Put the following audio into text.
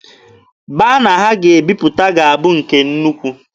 Bana a ga-ebiputa ga-abụ nke nnukwu.